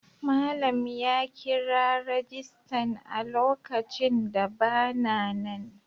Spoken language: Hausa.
Malam ya kira rajistan a lokacin da ba na nan.